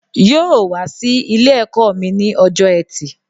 Yóò wá sí Ilé ẹ̀kọ́ mi ní ọjọ́ ẹtì